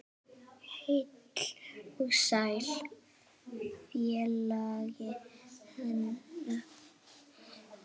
Heill og sæll félagi Hannes!